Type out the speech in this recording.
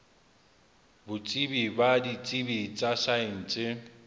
botsebi ba ditsebi tsa saense